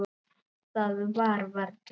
Það var varla.